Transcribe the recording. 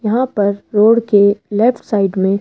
यहां पर रोड के लेफ्ट साइड में--